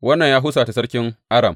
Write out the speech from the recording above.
Wannan ya husata sarkin Aram.